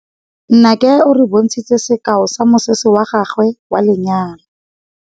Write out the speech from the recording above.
Nnake o re bontshitse sekaô sa mosese wa gagwe wa lenyalo.